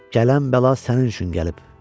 Gələn bəla sənin üçün gəlib.